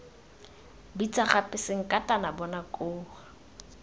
bitsa gape sankatane bona koo